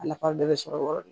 A nafa bɛɛ bɛ sɔrɔ o yɔrɔ